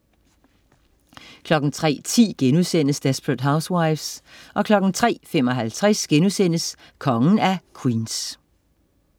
03.10 Desperate Housewives* 03.55 Kongen af Queens*